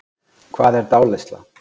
Hvað er dáleiðsla?